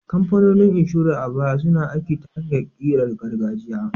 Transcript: Kamfanonin inshora a baya suna aiki ta hanyar ƙirar gargajiya.